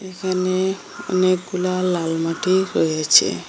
এইখানে অনেকগুলা লাল মাটি রয়েছে।